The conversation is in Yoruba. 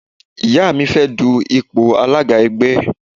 Ìyá mi fẹ́ dun ipò alága ẹgbẹ́.